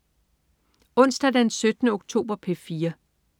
Onsdag den 17. oktober - P4: